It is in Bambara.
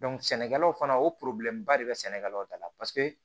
sɛnɛkɛlaw fana o ba de bɛ sɛnɛkɛlaw da la paseke